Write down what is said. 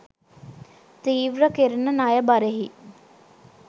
තීව්‍ර කෙරෙන ණය බරෙහි